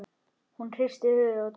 Hún hristir höfuðið og dæsir.